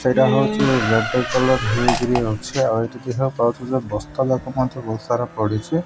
ସେଇଟା ହଉଛି କଲର୍ ହେଇକରି ଅଛେ ଆଉ ଏଠି ଦିଇଟା ବସ୍ତାଯାକ ମଧ୍ୟ ପଡ଼ିଛି।